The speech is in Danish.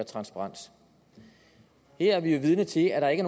transparens her er vi jo vidne til at der ikke